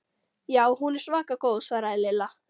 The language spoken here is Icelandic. Já, hún er svaka góð svaraði Lilla.